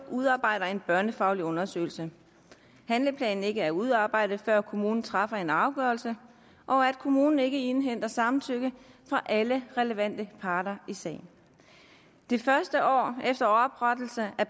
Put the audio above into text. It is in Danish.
udarbejder en børnefaglig undersøgelse at handleplanen ikke er udarbejdet før kommunen træffer en afgørelse og at kommunen ikke indhenter samtykke fra alle relevante parter i sagen det første år efter oprettelsen af